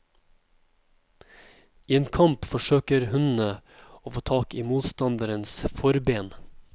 I en kamp forsøker hundene å få tak i motstanderens forben.